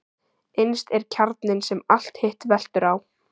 Innst er kjarninn sem allt hitt veltur á.